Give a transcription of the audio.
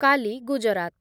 କାଲି , ଗୁଜରାତ